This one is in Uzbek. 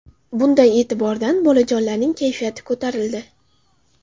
Bunday e’tibordan bolajonlarning kayfiyati ko‘tarildi.